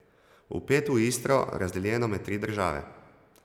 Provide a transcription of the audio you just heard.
Vpet v Istro, razdeljeno med tri države ...